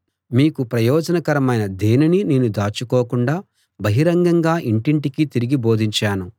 మీకు ప్రయోజనకరమైన దేనినీ నేను దాచుకోకుండా బహిరంగంగా ఇంటింటికీ తిరిగి బోధించాను